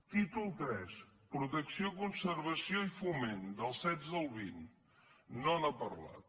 títol iii protecció conservació i foment del setze al vint no n’ha parlat